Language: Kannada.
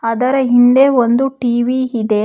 ಅದರ ಹಿಂದೆ ಒಂದು ಟಿ_ವಿ ಇದೆ.